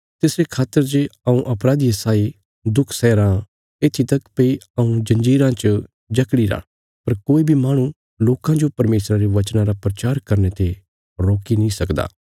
तिसरे खातर जे हऊँ अपराधिये साई दुख सैया राँ येत्थी तक भई हऊँ जंजीरा च जकड़ी रा पर कोई बी माहणु लोकां जो परमेशरा रे वचना रा प्रचार करने ते रोकी नीं सकदा